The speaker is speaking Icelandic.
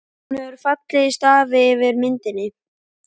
Hún hefur fallið í stafi yfir myndinni.